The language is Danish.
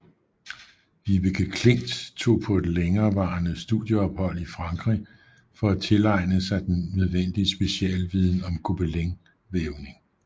Vibeke Klint tog på et længerevarende studieophold i Frankrig for at tilegne sig den nødvendige specialviden om gobelinvævning